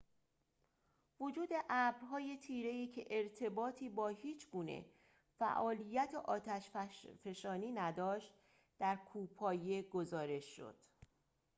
وجود ابرهای تیره‌ای که ارتباطی با هیچ‌گونه فعالیت آتش‌فشانی نداشت در کوهپایه گزارش شد